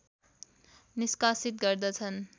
निष्कासित गर्दछन्